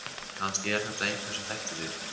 Kannski er þetta einhver sem þekkti þig.